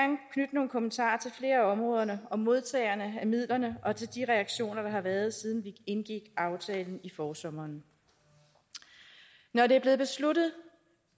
nogle kommentarer til flere af områderne og modtagerne af midlerne og til de reaktioner der har været siden vi indgik aftalen i forsommeren når det er blevet besluttet